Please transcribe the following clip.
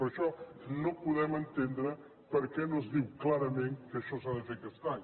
per això no podem entendre per què no es diu clarament que això s’ha de fer aquest any